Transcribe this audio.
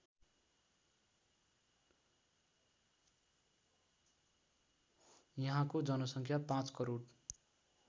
यहाँको जनसङ्ख्या ५ करोड